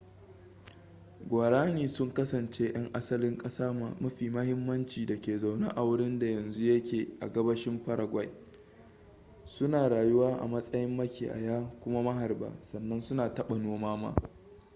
guaraní sun kasance yan asalin kasa mafi mahimmanci da ke zaune a wurinda yanzu yake a gabashin paraguay su na rayuwa a matsayin makiyaya kuma maharba sannan su na taba noma